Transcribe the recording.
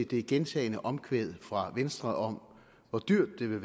det gentagne omkvæd fra venstre om hvor dyrt det vil